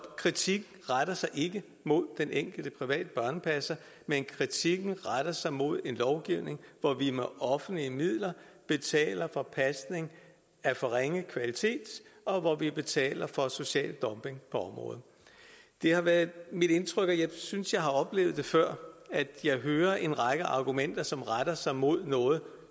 kritikken retter sig ikke mod den enkelte private børnepasser men kritikken retter sig mod en lovgivning hvor vi med offentlige midler betaler for pasning af for ringe kvalitet og hvor vi betaler for social dumping på området det har været mit indtryk og jeg synes at jeg har oplevet det før at jeg hører en række argumenter som retter sig mod noget